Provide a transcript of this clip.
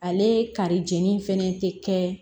Ale kari jeni fɛnɛ te kɛ